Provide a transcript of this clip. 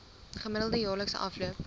gemiddelde jaarlikse afloop